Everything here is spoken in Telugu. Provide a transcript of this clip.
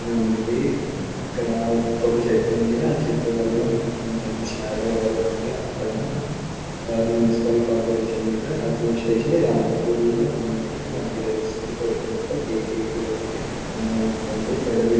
ఉంది ఇక్కడ ఒక చెట్టు ఉంది. ఆ చెట్టు వల్ల కొంచెం షాడో పడుతుంది. అక్కడ మున్సిపల్ కార్పొరేషన్ మీద అడ్మినిస్ట్రేషన్ . ఇది అనంతపురంలో ఉన్నట్టు మనకు తెలుస్తుంది. కూడా ఉంది. పక్కన పెద బిల్డింగ్ --